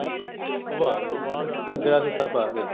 ਉਹ ਆ ਗਿਆ ਠੀਕ ਆ ਘੱਗਰਾ ਸੂਤ ਪਾ ਕੇ